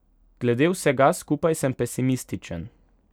Glede vsega skupaj sem pesimističen.